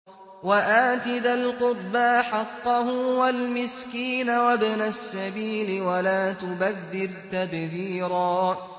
وَآتِ ذَا الْقُرْبَىٰ حَقَّهُ وَالْمِسْكِينَ وَابْنَ السَّبِيلِ وَلَا تُبَذِّرْ تَبْذِيرًا